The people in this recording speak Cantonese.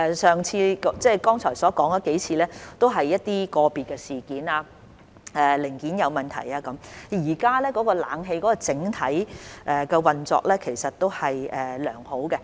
剛才提及的數次故障僅屬個別事件，例如零件問題，現時冷氣的整體運作都是良好的。